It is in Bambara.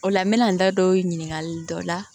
O la n bɛ na n da don ɲininkali dɔ la